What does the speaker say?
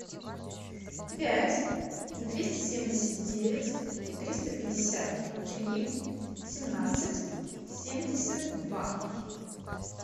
пять двести семьдесят девять триста пятьдесят три семнадцать семьдесят два